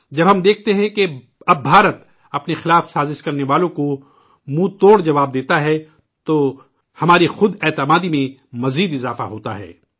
جب ہم دیکھتے ہیں کہ اب ہندوستان اپنے خلاف سازش کرنے والوں کو منہ توڑ جواب دیتا ہے تو ہماری خود اعتمادی اور بڑھتی ہے